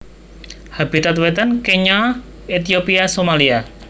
Habitat Wétan Kenya Ethiopia Somalia